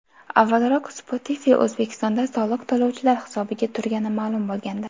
Avvalroq Spotify O‘zbekistonda soliq to‘lovchilar hisobiga turgani ma’lum bo‘lgandi .